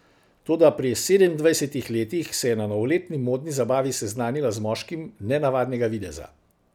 Toda pri sedemindvajsetih letih se je na novoletni modni zabavi seznanila z moškim nenavadnega videza.